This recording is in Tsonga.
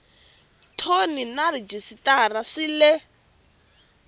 thoni na rhejisitara swi le